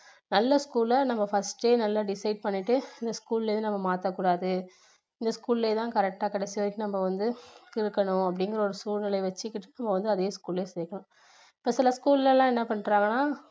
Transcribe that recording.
நல்ல school லா நம்ம first ஏ நல்லா decide பண்ணிட்டு இந்த school ல இருந்து நம்ம மாத்தக்கூடாது இந்த school லயே தான் correct டா கடைசி வரைக்கும் நம்ம வந்து இருக்கணும் அப்படிங்குற ஒரு சூழ்நிலை வச்சிக்கிட்டு நம்ம வந்து அதே school ல சேக்கணும் இப்போ சில school ல எல்லாம் என்ன பண்றாங்கன்னா